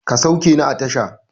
Ka sauke ni a tasha!